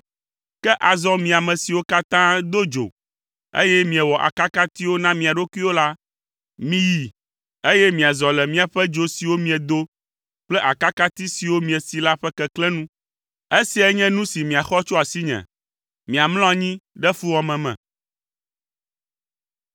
Ke azɔ mi ame siwo katã do dzo, eye miewɔ akakatiwo na mia ɖokuiwo la, miyi, eye miazɔ le miaƒe dzo siwo miedo kple akakati siwo miesi la ƒe keklẽ nu. Esiae nye nu si miaxɔ tso asinyeme: Miamlɔ anyi ɖe fuwɔame me.